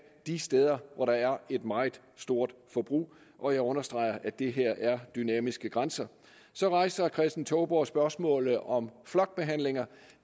de steder hvor der er et meget stort forbrug og jeg understreger at det her er dynamiske grænser så rejser herre kristen touborg spørgsmålet om flokbehandlinger